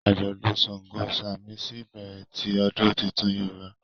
ajọdun ṣàngó samisi ibẹrẹ ti odun títún Yorúbá